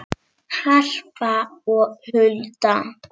Harpa og Hulda.